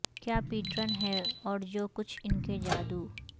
کیا پیٹرن ہے اور جو کچھ ان کے جادو